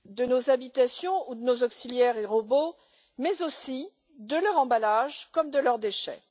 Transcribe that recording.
nos habitations ou nos auxiliaires et robots, mais aussi de leurs emballages comme de leurs déchets.